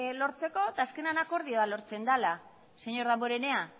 lortzeko eta azkenean akordioa lortzen dela señor damborenea